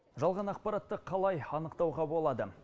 жалған ақпаратты қалай анықтауға болады